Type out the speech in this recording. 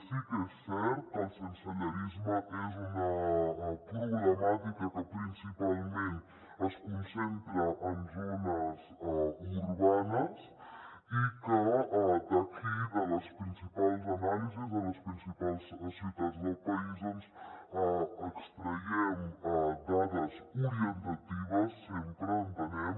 sí que és cert que el sensellarisme és una problemàtica que principalment es concentra en zones urbanes i d’aquí de les principals anàlisis de les principals ciutats del país doncs n’extraiem dades orientatives sempre entenem